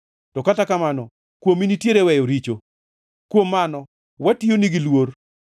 To kata kamano kuomi nitiere weyo richo; kuom mano watiyoni gi luor.